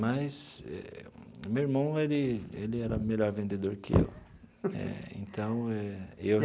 Mas meu irmão ele ele era melhor vendedor que eu eh então eh.